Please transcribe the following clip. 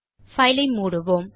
file ஐ மூடுவோம்